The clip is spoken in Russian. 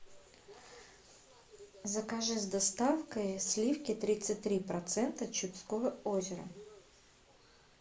закажи с доставкой сливки тридцать три процента чудского озера